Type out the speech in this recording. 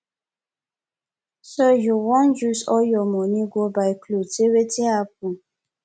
so you wan use all your money go buy cloth say wetin happen